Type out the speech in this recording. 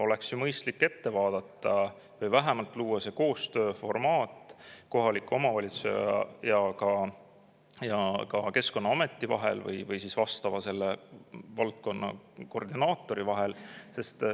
Oleks ju mõistlik ette vaadata või vähemalt luua see koostööformaat kohaliku omavalitsuse ja Keskkonnaameti vahel või siis vastava valdkonna koordinaatori vahel.